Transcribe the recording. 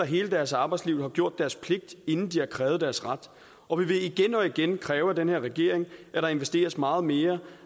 hele deres arbejdsliv har gjort deres pligt inden de har krævet deres ret og vi vil igen og igen kræve af den her regering at der investeres meget mere